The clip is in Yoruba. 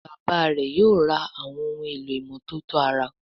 Bàbá rẹ yóò rà Àwọn ohun èlò ìmọ́tótó ara